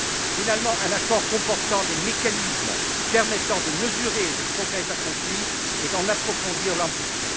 Enfin, un accord comportant des mécanismes permettant de mesurer les progrès accomplis et d'en approfondir l'ambition.